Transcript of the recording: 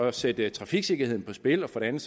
at sætte trafiksikkerheden på spil og for det andet